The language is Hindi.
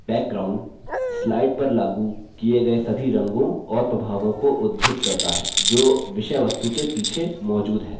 background slide पर लागू किये गये सभी रंगों और प्रभावों को उद्घृत करता है जो विषयवस्तु के पीछे मौजूद हैं